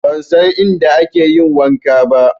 Ban san inda ake yin wanka ba